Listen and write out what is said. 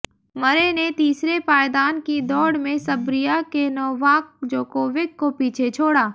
मरे ने तीसरे पायदान की दौड़ में सर्बिया के नोवाक जोकोविक को पीछे छोड़ा